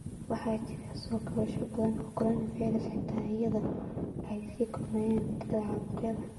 Waxaa jira soo kabasho badan oo coronavirus ah xitaa iyadoo ay sii kordhayaan tirada caabuqyada.